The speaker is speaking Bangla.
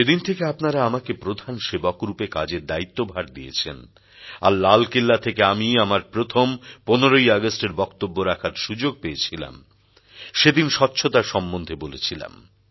যেদিন থেকে আপনারা আমাকে প্রধান সেবকরূপে কাজের দায়িত্বভার দিয়েছেন আর লালকেল্লা থেকে আমি আমার প্রথম ১৫ ই আগস্টের বক্তব্য রাখার সুযোগ পেয়েছিলাম সেদিন স্বচ্ছতা সম্বন্ধে বলেছিলাম